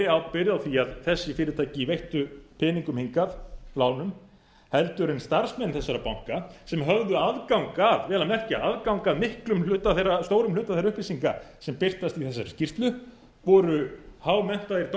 ábyrgð á því að þessi fyrirtæki veittu peninga hingað lán en starfsmenn þessara banka sem höfðu aðgang að vel að merkja stórum hluta þeirra upplýsinga sem birtast í þessari skýrslu voru hámenntaðir